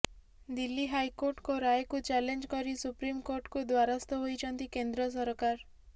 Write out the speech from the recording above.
ଦିଲ୍ଲୀ ହାଇକୋର୍ଟଙ୍କ ରାୟକୁ ଚ୍ୟାଲେଞ୍ଜ କରି ସୁପ୍ରିମକୋର୍ଟଙ୍କ ଦ୍ୱାରସ୍ଥ ହୋଇଛନ୍ତି କେନ୍ଦ୍ର ସରକାର